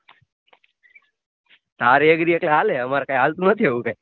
તારે એવી રીતે હાલે અમાર કાઈ હલતું નથી એવી રીતે